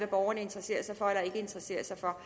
borgerne interesserer sig for eller ikke interesserer sig for